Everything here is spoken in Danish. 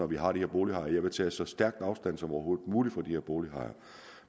vi har de her bolighajer jeg vil tage så stærk afstand som overhovedet muligt fra de her bolighajer